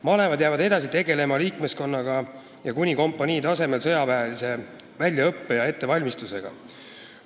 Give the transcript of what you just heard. Malevad jäävad edasi tegelema liikmeskonnaga ning kuni kompanii tasemel sõjaväelise väljaõppe ja ettevalmistusega.